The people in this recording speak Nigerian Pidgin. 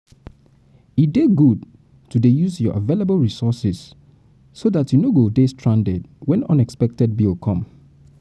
e dey good to dey use your available resources so dat you no go dey stranded wen unexpected bill come